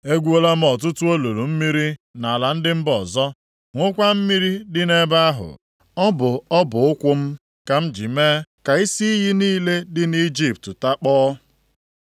Egwuola m ọtụtụ olulu mmiri nʼala ndị mba ọzọ, ṅụkwa mmiri dị nʼebe ahụ. Ọ bụ ọbụ ụkwụ m ka m ji mee ka isi iyi niile dị nʼIjipt takpọọ.’